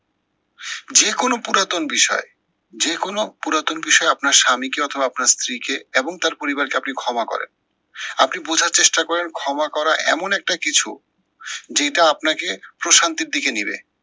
যে কোনো পুরাতন বিষয়ে, যে কোনো পুরাতন বিষয়ে আপনার স্বামীকে অথবা আপনার স্ত্রীকে এবং তার পরিবারকে আপনি ক্ষমা করেন। আপনি বোঝার চেষ্টা করেন ক্ষমা করা এমন একটা কিছু যেইটা আপনাকে প্রশান্তির দিকে নিবে।